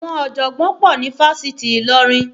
Àwọn ọ̀jọ̀gbọ́n pọ̀ ní Fáṣitì Ilorin